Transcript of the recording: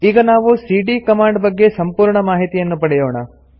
ಈಗ ನಾವು ಸಿಡಿಯ ಕಮಾಂಡ್ ಬಗ್ಗೆ ಸಂಪೂರ್ಣ ಮಾಹಿತಿಯನ್ನು ಪಡೆಯೋಣ